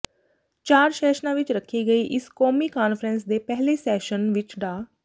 ਚਾਰ ਸੈਸ਼ਨਾਂ ਵਿਚ ਰੱਖੀ ਗਈ ਇਸ ਕੌਮੀ ਕਾਨਫ਼ਰੰਸ ਦੇ ਪਹਿਲੇ ਸੈਸ਼ਨ ਵਿਚ ਡਾ